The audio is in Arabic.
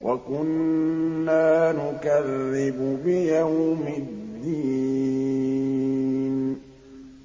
وَكُنَّا نُكَذِّبُ بِيَوْمِ الدِّينِ